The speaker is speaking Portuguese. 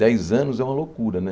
Dez anos é uma loucura, né?